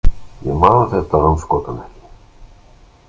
Ég man þetta andskotann ekki!